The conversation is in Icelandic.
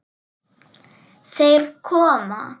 Þeir koma!